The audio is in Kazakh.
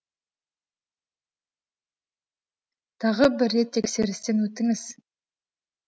тағы бір рет тексерістен өтіңіз